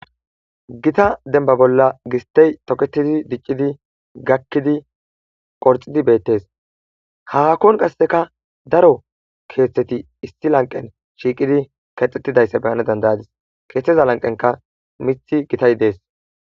Gita denibabola gisitey toketidi dicidi gakizi qorixidi betes hahon qasika daro ketheti issi laniqen kexetidaysa be'nawu danda'adis kethaza laniqenika mithi gitay dees